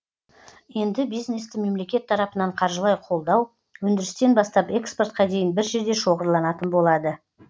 енді бизнесті мемлекет тарапынан қаржылай қолдау өндірістен бастап экспортқа дейін бір жерде шоғырланатын болады